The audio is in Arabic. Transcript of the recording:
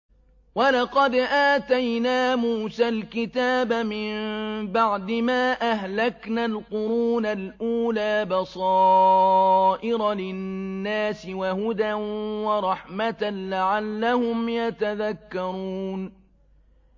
وَلَقَدْ آتَيْنَا مُوسَى الْكِتَابَ مِن بَعْدِ مَا أَهْلَكْنَا الْقُرُونَ الْأُولَىٰ بَصَائِرَ لِلنَّاسِ وَهُدًى وَرَحْمَةً لَّعَلَّهُمْ يَتَذَكَّرُونَ